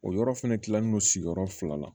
O yɔrɔ fɛnɛ kilalen no sigiyɔrɔ fila la